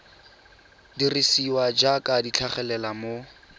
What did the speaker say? dirisiwa jaaka di tlhagelela mo